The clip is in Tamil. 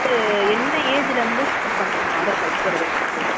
என்ன age ல இருந்து start பண்றாங்க aadhar card எடுக்குறது நமக்கு